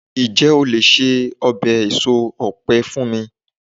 njé o le se obe eso òpe fún mi